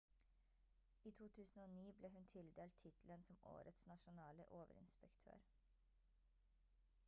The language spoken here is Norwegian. i 2009 ble hun tildelt tittelen som årets nasjonale overinspektør